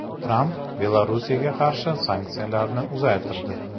Tramp Belarusga qarshi sanksiyalarni uzaytirdi.